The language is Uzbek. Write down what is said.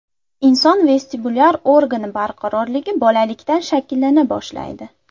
Inson vestibulyar organi barqarorligi bolalikdan shakllana boshlaydi.